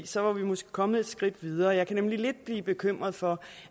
så var vi måske kommet et skridt videre jeg kan nemlig lidt blive bekymret for